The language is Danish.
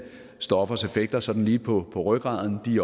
stoffers effekter sådan lige på rygraden de